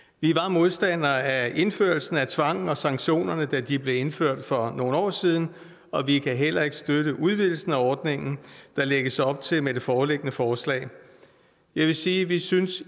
modstandere af indførelsen af tvangen og sanktionerne da de blev indført for nogle år siden og vi kan heller ikke støtte udvidelsen af ordningen der lægges op til med det foreliggende forslag jeg vil sige at vi synes